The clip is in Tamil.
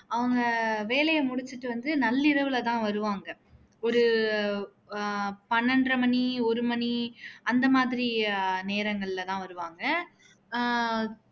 அவங்க வேலையை முடிச்சுட்டு வந்து நல்லிரவுல தான் வருவாங்க ஒரு ஆஹ் பன்னிரண்டரை மணி ஒரு மணி அந்த மாதிரி நேரங்களில தான் வருவாங்க ஆஹ்